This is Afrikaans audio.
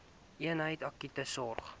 eenheid akute sorg